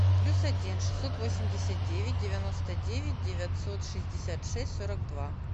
плюс один шестьсот восемьдесят девять девяносто девять девятьсот шестьдесят шесть сорок два